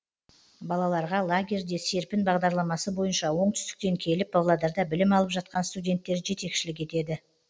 балаларға лагерьде серпін бағдарламасы бойынша оңтүстіктен келіп павлодарда білім алып жатқан студенттер жетекшілік етеді